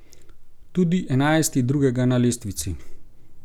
Tudi enajsti drugega na lestvici.